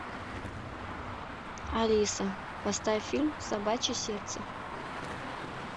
алиса поставь фильм собачье сердце